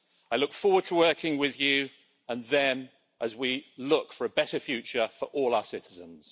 I look forward to working with you and them as we look for a better future for all our citizens.